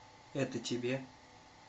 это тебе